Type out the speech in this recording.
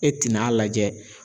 E tɛn'a lajɛ